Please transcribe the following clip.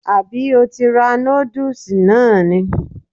Àbí o ti ra nódùsì náà ni??